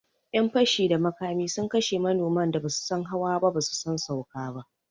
Yan fashi da makami sun kashe manoman da basu san hawa ba basu san sauka ba